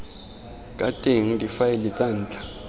ka teng difaele tsa ntlha